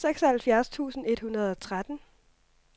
seksoghalvfjerds tusind et hundrede og tretten